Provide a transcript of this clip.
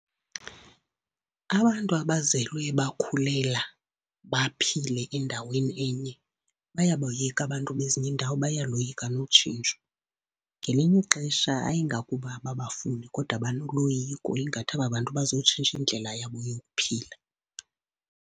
Abantu abazelwe bakhulela, baphile endaweni enye, bayaboyika abantu bezinye iindawo, bayaloyika notshintsho. Ngelinye ixesha ayingakuba ababafuni kodwa banoloyiko ingathi aba bantu bazotshintsha indlela yabo yokuphila.